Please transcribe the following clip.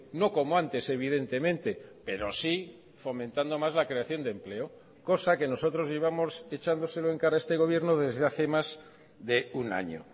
no como antes evidentemente pero sí fomentando más la creación de empleo cosa que nosotros íbamos echándoselo en cara a este gobierno desde hace más de un año